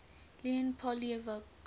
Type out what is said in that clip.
leon poliakov